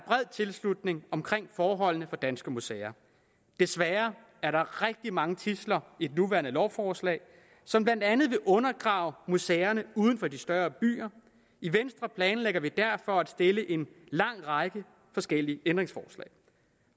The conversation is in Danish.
tilslutning omkring forholdene for danske museer desværre er der rigtig mange tidsler i det nuværende lovforslag som blandt andet vil undergrave museerne uden for de større byer i venstre planlægger vi derfor at stille en lang række forskellige ændringsforslag